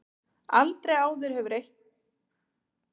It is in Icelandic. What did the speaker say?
Aldrei áður hefur eitt félag átt svo marga fulltrúa í liði umferðanna.